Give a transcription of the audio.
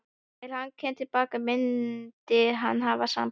Þegar hann kæmi til baka myndi hann hafa samband.